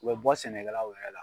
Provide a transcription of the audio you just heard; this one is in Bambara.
U be bɔ sɛnɛkɛlaw yɛrɛ la